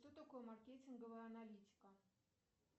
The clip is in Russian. что такое маркетинговая аналитика